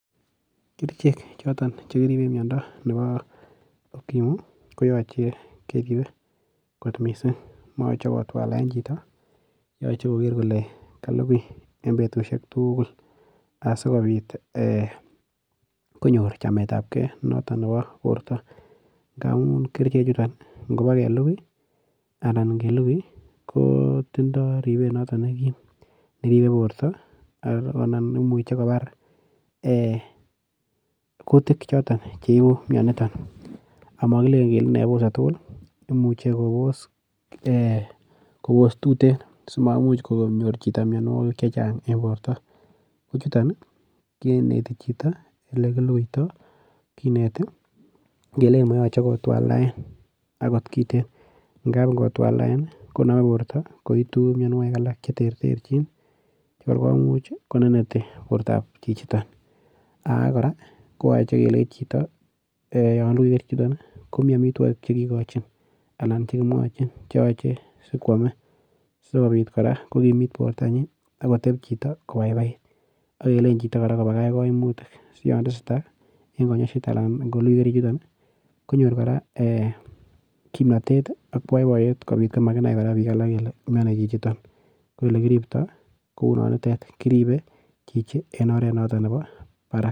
Kerichek choton chekiriben miondo nebo okimu koyoche keribe kot missing' moyoche kotwalen chito yoche koker kole kalukui en betusiek tugul asikobit konyor chametab kee noton nebo borto ngamun kerichechuton ingelukui anan kobaa kelukui kotindo ribet noton nekim neribe borto ak konam nemuche kobar ee kutikchoton cheibu mioniton omo kilelen kele bose tugul ii imuche kobos ee kobos tuten simamuch konyir chito mionuokik chechang en borto, kochuton kinete chito elekilukuito, kinete kelei moyoche kotwaldaena akot kiten angap ingotwandaen ii konome borto koitu mionuokik alak cheterterjin chekor komuch koneneti bortab chichiton, ake koraa koyoche kelei chito yon lukui kerichechuton komi omitwogik chekikochin alan chekimwoin cheoche sikwome sikobit koraa kokimit bortanyin ak koteb chito kobaibai ak kelei koraa chito kobakach koimutik siyon tesetaa en konyoiset anan kolukui kerichechuton ii konyor koraa ee kimnotet ak boiboiyet kobit komanai bik alak kele mioni chichiton ko elekiribto kou nonitet kiribe chichi en oret nenoton nebo barak.